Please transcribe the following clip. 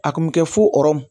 A kun bɛ kɛ fo ɔrɔ